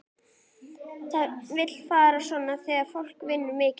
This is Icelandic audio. Það vill fara svona þegar fólk vinnur mikið.